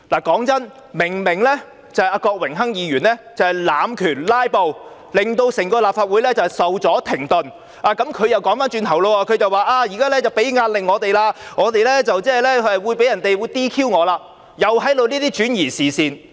坦白說，郭榮鏗議員明明在濫權、"拉布"，令整個立法會受阻停頓，但他卻反過來說我們現時給予他們壓力，他將會被 "DQ" 了，又是在轉移視線。